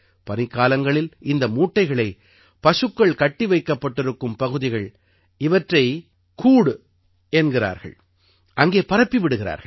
பனிக்காலங்களில் இந்த மூட்டைகளை பசுக்கள் கட்டி வைக்கப்பட்டிருக்கும் பகுதிகள் இவற்றை கூட் என்கிறார்கள் அங்கே பரப்பி விடுகிறார்கள்